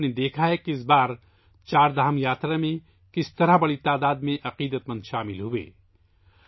آپ نے دیکھا ہے کہ اس بار چاردھام یاترا میں بڑی تعداد میں عقیدت مندوں نے شرکت کی